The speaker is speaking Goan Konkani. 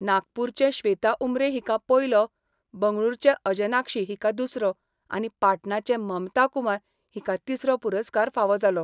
नागपूरचें श्वेता उमरे हिका पयलो बंगळुरूचे अंजनाक्षी हिका दुसरो आनी पाटणाचें ममता कुमार हिका तिसरो पुरस्कार फावो जालो.